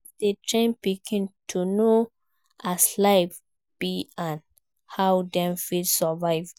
Parents de train pikin to know as life be and how dem fit survive